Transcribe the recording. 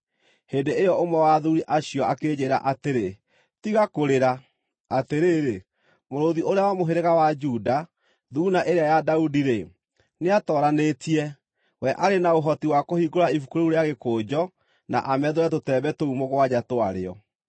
Hĩndĩ ĩyo ũmwe wa athuuri acio akĩnjĩĩra atĩrĩ, “Tiga kũrĩra! Atĩrĩrĩ, Mũrũũthi ũrĩa wa mũhĩrĩga wa Juda, Thuuna ĩrĩa ya Daudi-rĩ, nĩatooranĩtie. We arĩ na ũhoti wa kũhingũra ibuku rĩu rĩa gĩkũnjo, na amethũre tũtembe tũu mũgwanja twarĩo.”